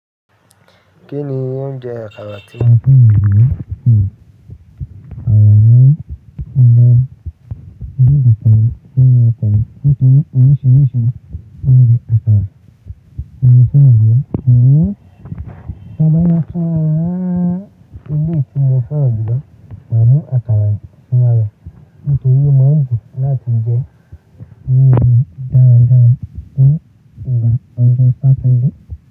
Kí ni oúnjẹ àkàrà tí? Àwọn ẹgbẹ́ ìjọba gbogbo ní ìdíje nínu ọ̀pọ̀ nítorí oríṣiríṣi oúnjẹ àkàrà ni wọ́n ń gbé. Kìíní, ọba yẹn ká eléyi tí ó fẹ́ràn jùlọ máa mú àkàrà síwájú nítorí ó máa ń dùn láti jẹ oúnjẹ dáradára ní ìgbà ọdún Saturday.